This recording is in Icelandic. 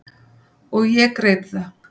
Og ég greip það.